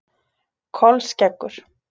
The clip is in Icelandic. Kolskeggur